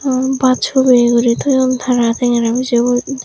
um baj hubeye guri toyon tara tengera bijebo.